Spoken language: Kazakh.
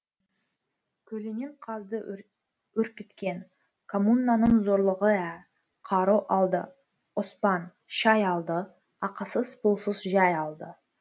көлінен қазды үркіткен коммунаның зорлығы ә қару алды оспан шәй алды ақысыз пұлсыз жәй алды